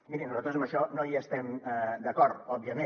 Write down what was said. mirin nosaltres amb això no hi estem d’acord òbviament